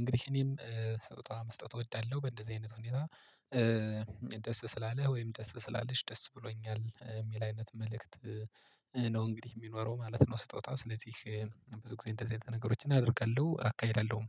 እንግዲህ እኔም ስጦታ መስጠት እወዳለሁ በእንደዚህ አይነት ሁኔታ። ደስ ስላለ ወይም ደስ ስላለሽ ደስ ብሎኛል የሚል አይነት መልእክት ነው እንግዲህ የሚኖረው ማለት ነው። ስጦታው ስለዚህ ብዙ ጊዜ እንደዚህ አይነት ነገሮችን አደርጋለሁ። አካሄደለሁም